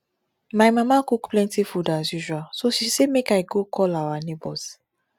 my mama cook plenty food as usual so she say make i go call our neighbours